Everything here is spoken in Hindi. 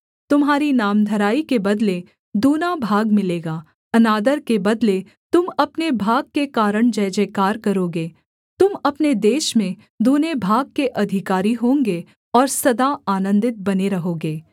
तुम्हारी नामधराई के बदले दूना भाग मिलेगा अनादर के बदले तुम अपने भाग के कारण जयजयकार करोगे तुम अपने देश में दूने भाग के अधिकारी होंगे और सदा आनन्दित बने रहोगे